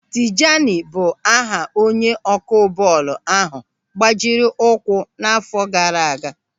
Tijani bụ aha onye ọkụ bọọlụ ahụ gbajiri ụkwụ n'àfọ́ gaara aga.